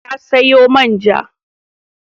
Ya sayo man ja.